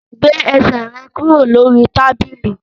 Gbé ẹsẹ̀ rẹ kúrò lórí tábìlì!